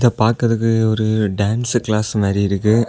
பாக்குறது ஒரு dance class மாறி இருக்கு.